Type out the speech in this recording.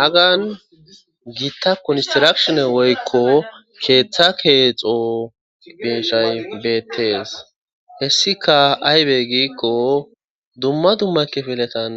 Hagan giitta kunistirakshine woykko keeththa keexo beshay beettees hessika aybey giikko dumma dumma kifiletan